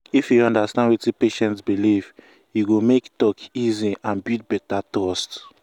if you understand wetin patient believe e go make talk easy and build better trust.